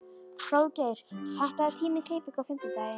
Hróðgeir, pantaðu tíma í klippingu á fimmtudaginn.